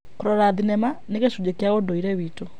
Kũrora thenema nĩ gĩcunjĩ kĩa ũndũire witũ.